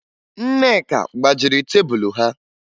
Nneka gbajiri tebulu ha